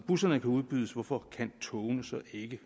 busserne kan udbydes hvorfor kan togene så ikke